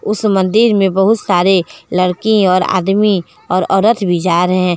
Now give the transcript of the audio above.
उस मंदिर में बहुत सारे लड़की और आदमी और औरत भी जा रहे--